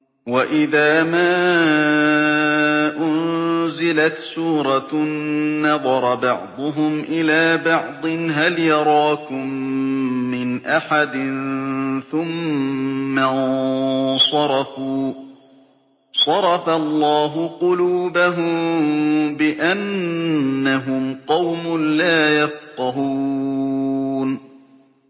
وَإِذَا مَا أُنزِلَتْ سُورَةٌ نَّظَرَ بَعْضُهُمْ إِلَىٰ بَعْضٍ هَلْ يَرَاكُم مِّنْ أَحَدٍ ثُمَّ انصَرَفُوا ۚ صَرَفَ اللَّهُ قُلُوبَهُم بِأَنَّهُمْ قَوْمٌ لَّا يَفْقَهُونَ